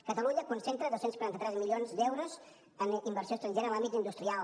catalunya concentra dos cents i quaranta tres milions d’euros en inversió estrangera en l’àmbit industrial